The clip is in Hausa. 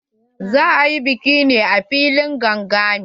Za a yi bikin ne a filin gangami.